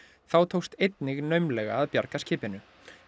þá tókst einnig naumlega að bjarga skipinu